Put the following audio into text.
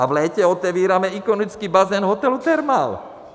A v létě otevíráme ikonický bazén hotelu Thermal!